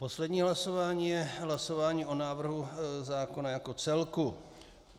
Poslední hlasování je hlasování o návrhu zákona jako celku.